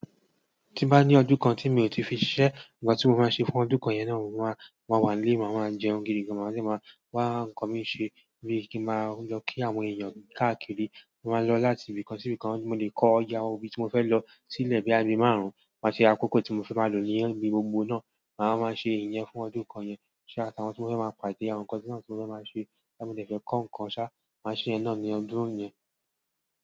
Tí n bá ní ọdún kan tí mi ò tí fi ṣisẹ́, nkan tí mo máa ṣe fún ọdún kan yẹn náà, mo máa, mo máa wà nílé, màá máa jẹun gidi gan, màá dẹ́ máa wá ǹkan mi ṣe bí kí máa lọ kí àwọn èèyàn káàkiri kin maa lọ láti ibìkan sí ibìkan, mo lè kọ iye àwọn ibí ti mo fẹ́ lọ sí lẹ̀ boya bí àbí márùn-ún, máa ṣe akókò tí mo fẹ́ máa lò ní ibi gbogbo náà, màá wa máa ṣe ìyẹn fún ọdún kan yẹn. Ṣá, àtàwọn tí mo fẹ́ máa pàdé, àwọn nǹkan teeyan tun fẹ́ máa ṣe, boya mo de fẹ́ kọ́ nǹkan ṣá, màá ṣe yẹn náà ní ọdún yẹn.